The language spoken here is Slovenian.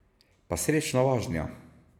Pa srečno vožnjo!